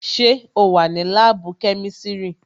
Sẹ́ o wà ní láàbù kẹ́misiri?